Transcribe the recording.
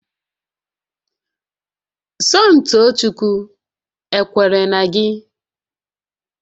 Somtoochukwu ekwere na gị?